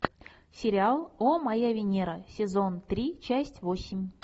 сериал о моя венера сезон три часть восемь